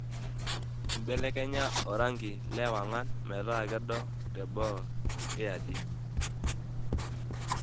ibelekenya orangi le ewangan metaa kedo teboo iaaji